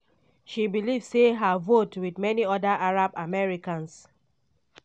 she believe say her vote wit many oda arab americans